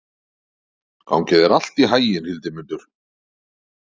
Gangi þér allt í haginn, Hildimundur.